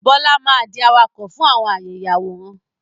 Bọlá máa di awakọ̀ fún àwọn àyè ìyàwórán